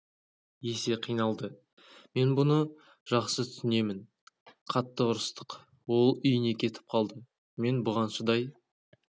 есе қиналды мен бұны жақсы түсінемін қатты ұрсыстық ол үйіне кетіп қалды мен бұған шыдай